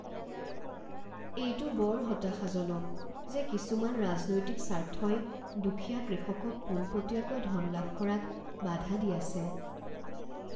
এইটো বৰ হতাশাজনক যে কিছুমান ৰাজনৈতিক স্বাৰ্থই দুখীয়া কৃষকক পোনপটীয়াকৈ ধন লাভ কৰাত বাধা দি আছে